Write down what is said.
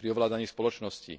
pri ovládaní spoločnosti.